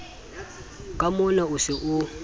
ke mona o se o